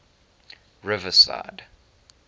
riverside